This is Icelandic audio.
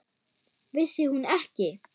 Vissi hún ekki!